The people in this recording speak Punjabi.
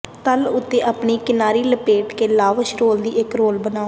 ਤਲ ਉੱਤੇ ਆਪਣੀ ਕਿਨਾਰੀ ਲਪੇਟ ਕੇ ਲਾਵਸ਼ ਰੋਲ ਦੀ ਇੱਕ ਰੋਲ ਬਣਾਓ